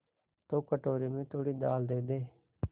तो कटोरे में थोड़ी दाल दे दे